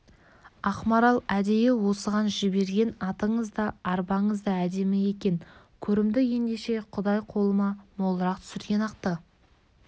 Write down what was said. ақмарал әдейі осыған жіберген атыңыз да арбаңыз да әдемі екен көрімдік ендеше құдай қолыма молырақ түсірген-ақты